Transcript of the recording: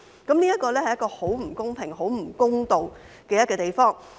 這是很不公平、很不公道的地方。